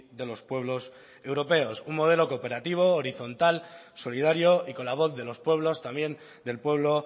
de los pueblos europeos un modelo cooperativo horizontal solidario y con la voz de los pueblos también del pueblo